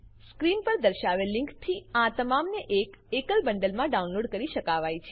screen પર દર્શાવેલ લીંકથી આ તમામને એક એકલ બંડલમાં ડાઉનલોડ કરી શકાવાય છે